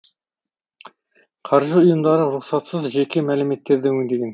қаржы ұйымдары рұқсатсыз жеке мәліметтерді өңдеген